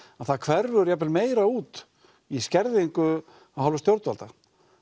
að það hverfur jafn vel meira út í skerðingu af hálfu stjórnvalda